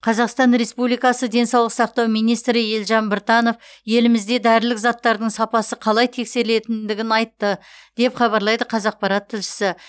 қазақстан республикасы денсаулық сақтау министрі елжан біртанов елімізде дәрілік заттардың сапасы қалай тексерілетіндігін айтты деп хабарлайды қазақпарат тілшісі